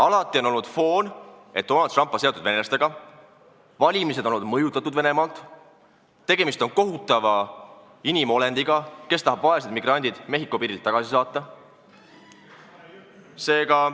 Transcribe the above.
Alati on olnud foon, et Donald Trump on seotud venelastega, valimised on olnud mõjutatud Venemaalt, tegemist on kohutava inimolendiga, kes tahab vaesed migrandid Mehhiko piirilt tagasi saata.